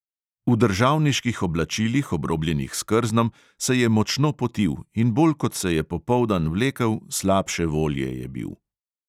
V državniških oblačilih, obrobljenih s krznom, se je močno potil in bolj kot se je popoldan vlekel, slabše volje je bil.